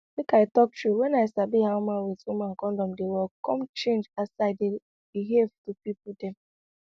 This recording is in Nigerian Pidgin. make i talk true wen i sabi how man with woman kondom dey work come change as i dey behave to pipo dem